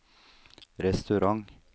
restaurant